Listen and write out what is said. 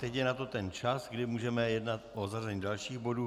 Teď je na to ten čas, kdy můžeme jednat o zařazení dalších bodů.